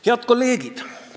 Head kolleegid!